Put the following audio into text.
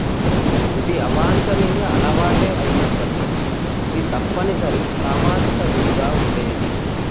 ఇది అవాంఛనీయ అలవాటే అయినప్పటికీ ఇది తప్పనిసరి సామాజిక విధిగా ఉండేది